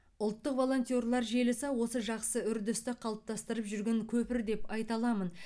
ұлттық волонтерлар желісі осы жақсы үрдісті қалыптастырып жүрген көпір деп айта аламын